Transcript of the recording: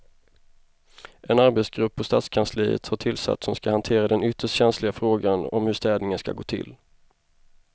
En arbetsgrupp på stadskansliet har tillsatts som ska hantera den ytterst känsliga frågan om hur städningen ska gå till.